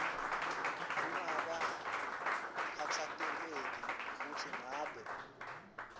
kungakhatsaleki kutsi ngabe